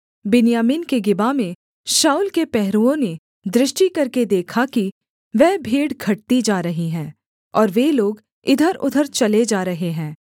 बिन्यामीन के गिबा में शाऊल के पहरुओं ने दृष्टि करके देखा कि वह भीड़ घटती जा रही है और वे लोग इधरउधर चले जा रहे हैं